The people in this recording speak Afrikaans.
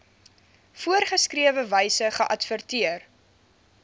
voorgeskrewe wyse geadverteer